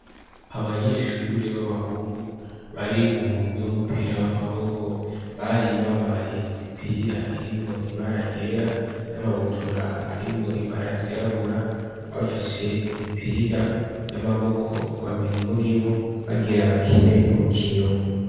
Abanyeshure b'abahungu bari mu murwi w'umupira w'amaboko bari bambaye imipira irimwo ibaragera n'amabutura arimwo ibaragerabura bafishe imipira y'amaboko, babiri muri bo bagira bakene urukino.